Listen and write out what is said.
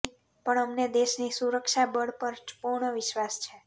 પણ અમને દેશની સુરક્ષા બળ પર પુર્ણ વિશ્વાસ છે